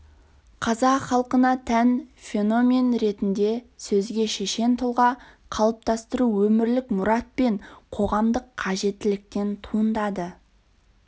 қазақ халқына тән феномен ретінде сөзге шешен тұлға қалыптастыру өмірлік мұрат пен қоғамдық қажеттіліктен туындады